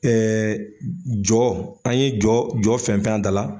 jɔ an ye jɔ jɔ fɛnfɛn a da la